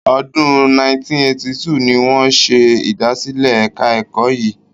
Ọdún 1982 ni wọ́n ṣe ìdásílẹ̀ ẹ̀ka ẹ̀kọ́ yìí.